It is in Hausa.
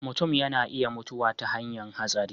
mutum ya na iya mutuwa ta hanyan hatsari